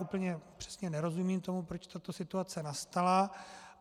Úplně přesně nerozumím tomu, proč tato situace nastala.